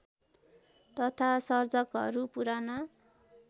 तथा सर्जकहरू पुराना